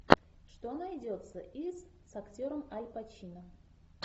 что найдется из с актером аль пачино